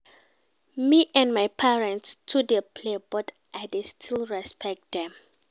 Me and my parents too dey play but I dey still respect dem.